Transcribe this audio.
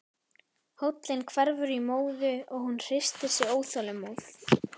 Hóllinn hverfur í móðu og hún hristir sig óþolinmóð.